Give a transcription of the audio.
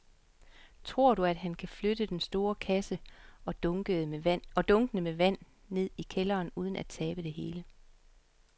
Tror du, at han kan flytte den store kasse og dunkene med vand ned i kælderen uden at tabe det hele?